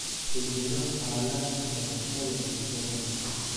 beddelo xaaladda shabakada bulshada